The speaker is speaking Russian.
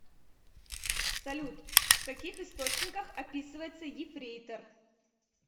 салют в каких источниках описывается ефрейтор